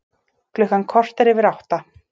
Klukkan korter yfir átta